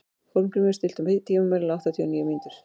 Hólmgrímur, stilltu tímamælinn á áttatíu og níu mínútur.